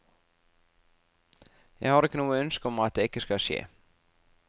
Jeg har ikke noe ønske om at det ikke skal skje.